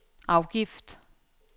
afgift